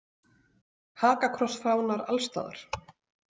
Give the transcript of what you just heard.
Hakakrossfánar alls staðar.